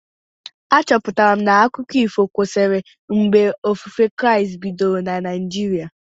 A chọpụtara m na akụkọ ifo kwesịrị mgbe ofufe Kraịst bidoro na Naijiria